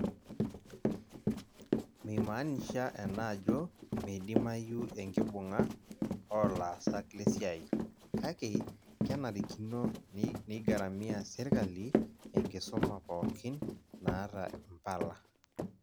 Meimaanisha ena ajo meidimayu enkibung'a oolaasak lesiai, kake kenarikino neigaramia sirkali enkisuma pookin naata mpala.